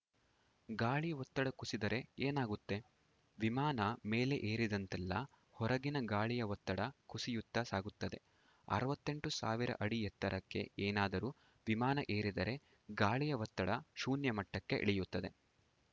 ಗಾಳಿ ಒತ್ತಡ ಕುಸಿದರೆ ಏನಾಗುತ್ತೆ ವಿಮಾನ ಮೇಲೆ ಏರಿದಂತೆಲ್ಲಾ ಹೊರಗಿನ ಗಾಳಿಯ ಒತ್ತಡ ಕುಸಿಯುತ್ತಾ ಸಾಗುತ್ತದೆ ಅರವತ್ತೆಂಟು ಸಾವಿರ ಅಡಿ ಎತ್ತರಕ್ಕೆ ಏನಾದರೂ ವಿಮಾನ ಏರಿದರೆ ಗಾಳಿಯ ಒತ್ತಡ ಶೂನ್ಯಮಟ್ಟಕ್ಕೆ ಇಳಿಯುತ್ತದೆ